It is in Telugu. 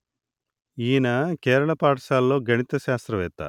ఈయన కేరళ పాఠశాలలో గణిత శాస్త్రవేత్త